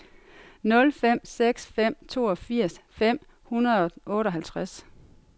nul fem seks fem toogfirs fem hundrede og otteoghalvtreds